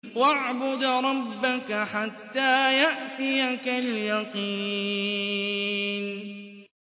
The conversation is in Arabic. وَاعْبُدْ رَبَّكَ حَتَّىٰ يَأْتِيَكَ الْيَقِينُ